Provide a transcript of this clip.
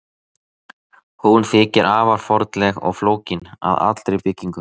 Hún þykir afar fornleg og flókin að allri byggingu.